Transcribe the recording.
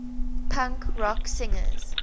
punk rock singers